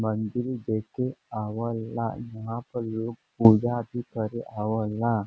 मंदिर देखे आवला। यहाँ पर लोग पूजा भी करे आवला।